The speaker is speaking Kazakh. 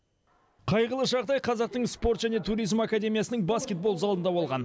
қайғылы жағдай қазақтың спорт және туризм академиясының баскетбол залында болған